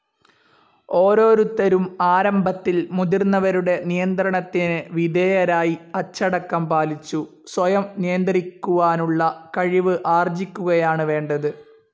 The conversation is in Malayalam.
ഓരോരുത്തരും ആരംഭത്തിൽ മുതിർന്നവരുടെ നിയന്ത്രണത്തിന് വിധേയരായി അച്ചടക്കം പാലിച്ചു സ്വയം നിയന്ത്രിക്കുവാനുള്ള കഴിവ് ആർജിക്കുകയാണ് വേണ്ടത്.